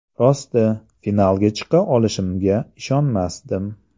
Rosti, finalga chiqa olishimga ishonmasdim.